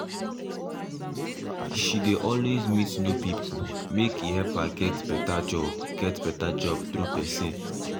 she dey always meet new people make a help her get better get better job through person um